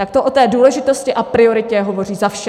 Tak to o té důležitosti a prioritě hovoří za vše.